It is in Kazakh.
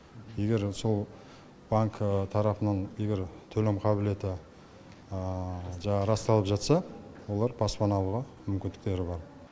егер сол банкы тарапынан егер төлем қабілеті жаңағы расталып жатса олар баспана алуға мүмкіндіктері бар